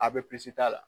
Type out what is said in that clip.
Abisi t'a la